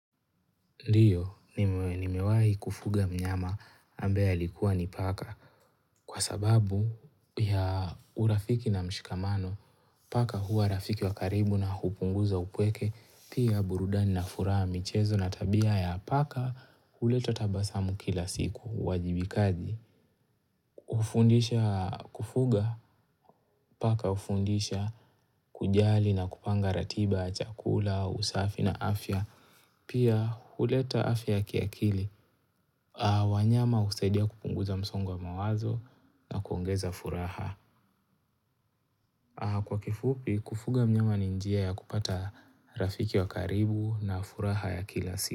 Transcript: Ndiyo, nimewahi kufuga mnyama ambaye alikuwa ni paka kwa sababu ya urafiki na mshikamano paka hua rafiki wa karibu na hupunguza upweke pia burudani na furaha michezo na tabia ya paka huleta tabasamu kila siku uwajibikaji. Hufundisha kufuga paka hufundisha kujali na kupanga ratiba, chakula, au usafi na afya Pia huleta afya kiakili wanyama husaidia kupunguza msongo wa mawazo na kuongeza furaha Kwa kifupi kufuga mnyama ni njia ya kupata rafiki wa karibu na furaha ya kila siku.